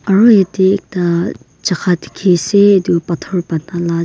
aru yatey ekta jaka dekhi ase etu pathor bana lag --